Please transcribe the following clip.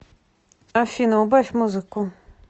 афина убавь музыку